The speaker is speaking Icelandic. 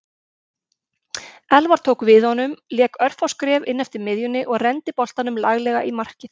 Elfar tók við honum lék örfá skref inneftir miðjunni og renndi boltanum laglega í markið.